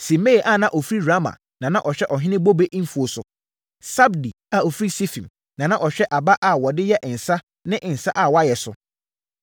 Simei a na ɔfiri Rama na na ɔhwɛ ɔhene bobe mfuo so. Sabdi a ɔfiri Sifim na na ɔhwɛ aba a wɔde yɛ nsã ne nsã a wɔayɛ so.